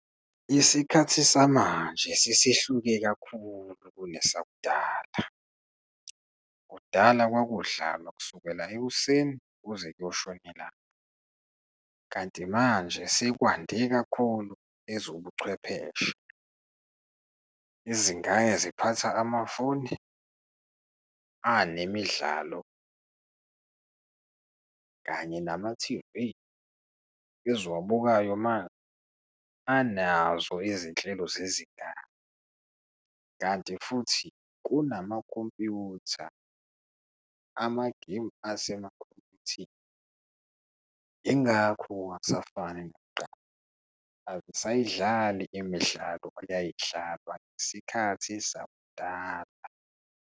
Isikhathi samanje sesihluke kakhulu kune sakudala, kudala kwakudlalwa kusukela ekuseni kuze kuyoshona ilanga. Kanti manje sekwande kakhulu ezobuchwepheshe, izingane ziphatha amafoni anemidlalo, kanye namathivi eziwabukayo anazo izinhlelo zezindaba, kanti futhi kunamakhompyutha, amagemu asemakhompyutheni. Yingakho kungasafani nakuqala, azisayidlali imidlalo eyayidlalwa ngesikhathi sakudala.